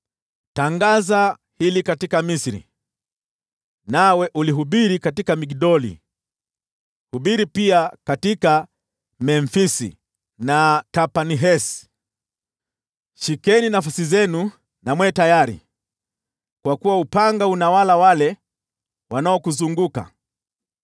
“Tangaza hili katika Misri, nawe ulihubiri katika Migdoli, hubiri pia katika Memfisi na Tahpanhesi: ‘Shikeni nafasi zenu na mwe tayari, kwa kuwa upanga unawala wale wanaokuzunguka.’